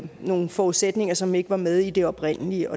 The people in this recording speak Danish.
nogle forudsætninger som ikke var med i det oprindelige